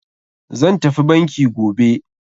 Zan tafi banki gobe.